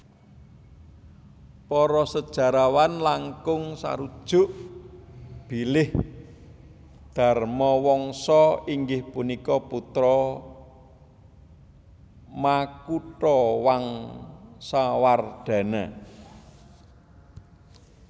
Para sejarawan langkung sarujuk bilih Dharmawangsa inggih punika putra Makutawangsawardhana